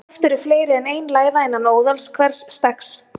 Oft eru fleiri en ein læða innan óðals hvers steggs.